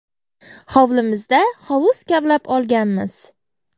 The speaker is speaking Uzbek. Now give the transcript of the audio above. Hovlimizda hovuz kavlab olganmiz.